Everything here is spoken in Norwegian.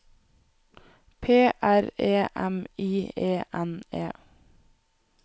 P R E M I E N E